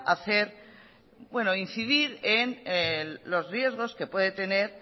incidir en los riesgos que puede tener